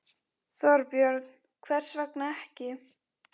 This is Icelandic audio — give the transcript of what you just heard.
Þorbjörn: Hvers vegna ekki?